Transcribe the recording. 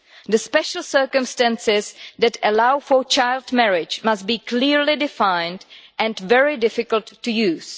The special circumstances that allow for child marriage must be clearly defined and very difficult to use.